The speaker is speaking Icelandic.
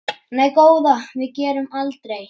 Nei góða, við gerum aldrei.